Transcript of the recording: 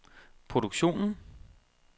produktionen